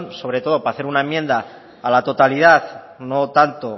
sobre todo para hacer una enmienda a la totalidad no tanto